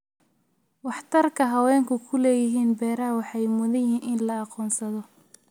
Waxtarka haweenku ku leeyihiin beeraha waxay mudan yihiin in la aqoonsado.